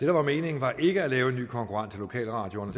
var meningen var ikke at lave en ny konkurrent til lokalradioerne